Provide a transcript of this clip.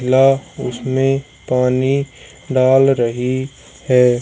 ला उसमें पानी डाल रही है।